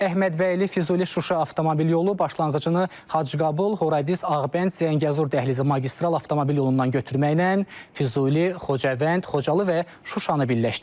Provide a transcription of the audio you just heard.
Əhmədbəyli, Füzuli-Şuşa avtomobil yolu başlanğıcını Hacıqabul-Horadiz-Ağbənd-Zəngəzur dəhlizi magistral avtomobil yolundan götürməklə Füzuli, Xocavənd, Xocalı və Şuşanı birləşdirir.